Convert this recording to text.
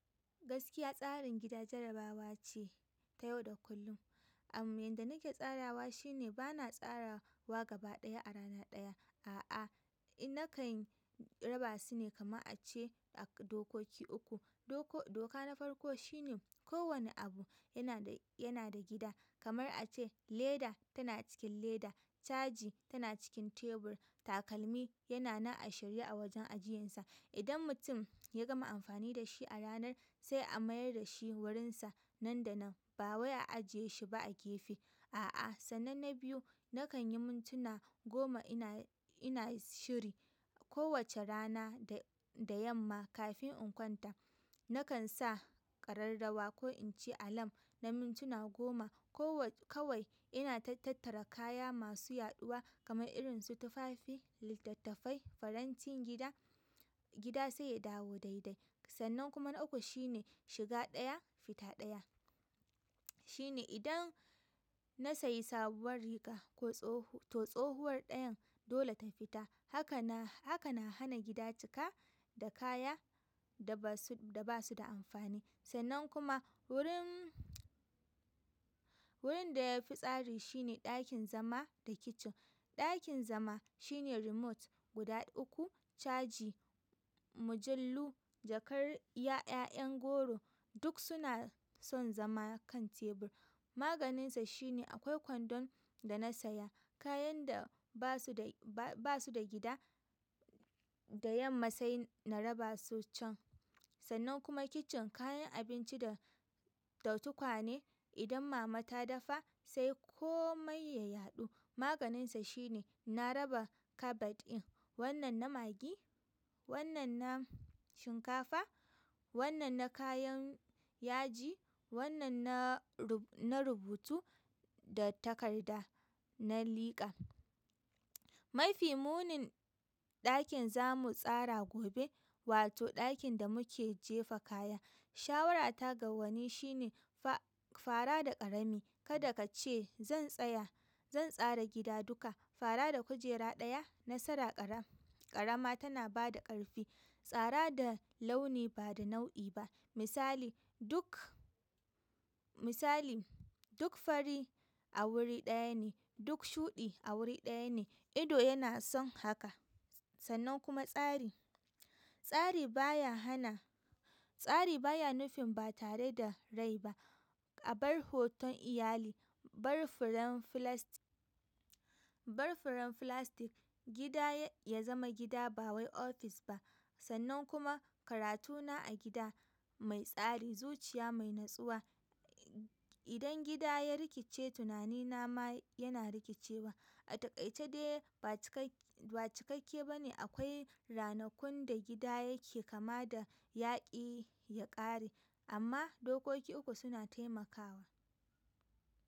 Gaskiya tsarin gida jarabawa ce ta yau da kullum. Amma inda nake tsarawa shi ne bana tsara wa gaba ɗaya a rana ɗaya. A'a, nakan raba su ne kamar a ce a dokoki uku. Dok, doka na farko shine kowani abu yanada gida. Kamar a ce leda tana cikin leda, caji tana cikin tebur, takalmi yana na a shirya a wajen ajiyinsa. Idan mutum ya gama amfani da shi a ranar sai a mayar da shi wurinsa nan da nan. Ba wai a ajiye shi ba a gefe. A'a, sannan na biyu nakan yi mintuna goma ina, ina shiri kowace rana da, da yamma kafin in kwanta. Nakan sa ƙararrawa ko in ci alam na mintuna goma. Kawai ina tattara kaya masu yaɗuwa kamar irin su tufafi, littattafai, farantin gida, gida sai ya dawo daidai. Sannan kuma na uku shine shiga ɗaya fita ɗaya, shine idan na sayi sabuwar riga to tsohuwar ɗayan dole ta fita. Haka nanhana gida cika da kaya da basuda amfani. Sannan kuma wurin, wurin da ya fi tsari shi ne ɗakin zama da kicin. Ɗakin zama shine remote guda uku, caji, mujallu, jakar 'ya'yan goro duk suna son zama kan tebur. Maganinsa shi ne akwai kwandon da na saya. Kayan da ba su da, ba su da gida da yamma sai na raba su can. Sannan kuma kicin kayan abinci da, da tukwane idan mama ta dafa sai komai ya yaɗu. Maganinsa shi ne na raba cupboard ɗin. Wannan na maggi, wannan na shinkafa, wannan na kayan yaji, wannan na, na rubutu da takarda, na liƙa. Mafi munin ɗakin zamu tsara gobe wato ɗakin da muke jefa kaya. Shawarata ga wani shi ne fa, fara da ƙarami. Kada ka ce zan tsaya, zan tsara gida duka. Fara da kujera ɗaya, nasara ƙarama tana ba da ƙarfi. Tsara da launi ba da nau'i ba. Misali duk, misali duk fari a wuri ɗaya ne, duk shuɗi a wuri ɗaya ne. Ido yana son haka. Sannan kuma tsari. Tsari baya hana, tsari baya nufin ba tare da rai ba. A bar hoton iyali, bar furen filasti, gida ya zama gida ba wai ofis ba. Sannan kuma karatuna a gida mai tsari zuciya mainnutsuwa idan gida ya rikice tina nina ma yana rikicewa. A takaice dai ba cikakke ba ne. Akwai ranakun da gida yake kama da yaƙi ya ƙare. Amma dokoki uku suna taimakawa.